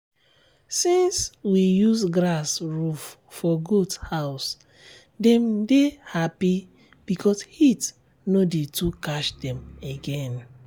since we use grass roof for goat house dem dey happy because heat no dey too catch dem again.